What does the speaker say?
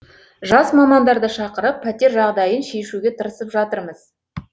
жас мамандарды шақырып пәтер жағдайын шешуге тырысып жатырмыз